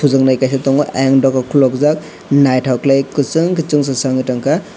tujaknai kaisa tango eyang doga kologjak naitok kelai ke kusong kei chungsajak wng tongka.